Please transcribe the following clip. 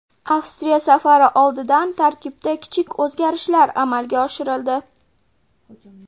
Avstriya safari oldidan tarkibda kichik o‘zgarishlar amalga oshirildi .